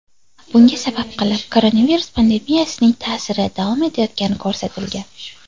Bunga sabab qilib koronavirus pandemiyasining ta’siri davom etayotgani ko‘rsatilgan.